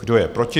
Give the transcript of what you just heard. Kdo je proti?